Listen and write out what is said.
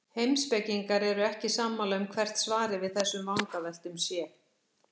Heimspekingar eru ekki sammála um hvert svarið við þessum vangaveltum sé.